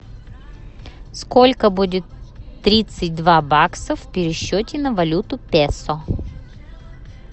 сколько будет тридцать два бакса в пересчете на валюту песо